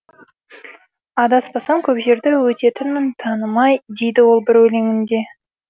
адаспасам көп жерді өтетінмін танымай дейді ол бір өлеңінде